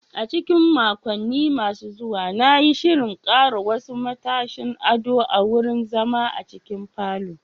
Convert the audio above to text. A cikin makonni masu zuwa, na yi shirin ƙara wasu matashin ado a wurin zama a cikin falon.